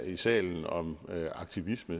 i salen om aktivisme